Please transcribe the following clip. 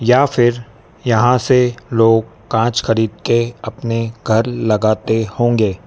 या फिर यहां से लोग कांच खरीद के अपने घर लगाते होंगे--